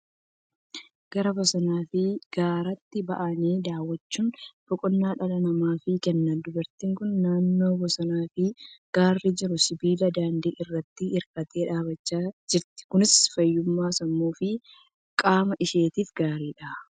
Gara bosonaa fi gaaraatti ba'anii daawwachuun boqonnaa dhala namaaf kenna. Dubartiin kun naannoo bosonnii fi gaarri jiru sibiila daandii irraatti hirkattee dhaabachaa jirti. Kunis fayyummaa sammuu fi qaama ishiitiif gaariidha.